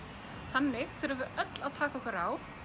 þannig þurfum við öll að taka okkur á